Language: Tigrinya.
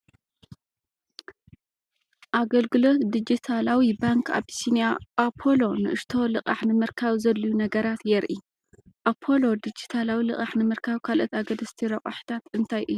ኣገልግሎት ዲጂታላዊ ባንክ ኣቢሲንያ "ኣፖሎ" ንእሽቶ ልቓሕ ንምርካብ ዘድልዩ ነገራት የርኢ። ኣፖሎ ዲጂታላዊ ልቓሕ ንምርካብ ካልኦት ኣገደስቲ ረቛሒታት እንታይ እዮም?